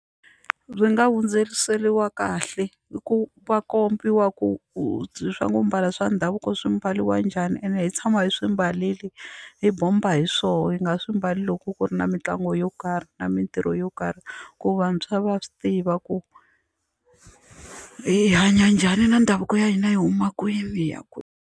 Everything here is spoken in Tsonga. Byi nga hundzeriseriwa kahle i ku va kombiwa ku swa ku mbala swa ndhavuko swi mbariwa njhani ene hi tshama hi swi mbarile hi bomba hi swona hi nga swi mbali loko ku ri na mitlangu yo karhi na mitirho yo karhi ku vantshwa va swi tiva ku hi hanya njhani na ndhavuko ya hina yi huma kwini ya kwini.